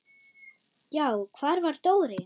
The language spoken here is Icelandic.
Já, hvar var Dóri?